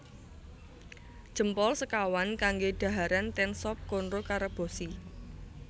Jempol sekawan kangge dhaharan ten Sop Konro Karebosi